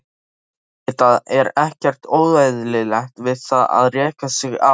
Auðvitað er ekkert óeðlilegt við það að reka sig á.